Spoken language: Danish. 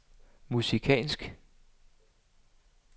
musikalsk